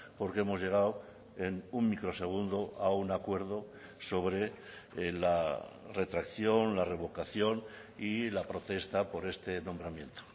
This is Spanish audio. porque hemos llegado en un microsegundo a un acuerdo sobre la retracción la revocación y la protesta por este nombramiento